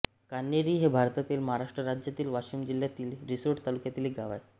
कान्हेरी हे भारतातील महाराष्ट्र राज्यातील वाशिम जिल्ह्यातील रिसोड तालुक्यातील एक गाव आहे